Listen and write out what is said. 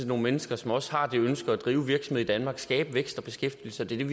nogle mennesker som også har det ønske at drive virksomhed i danmark og skabe vækst og beskæftigelse det er